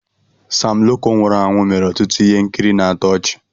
Sam Loco nwụrụ anwụ mere ọtụtụ ihe nkiri na-atọ ọchi.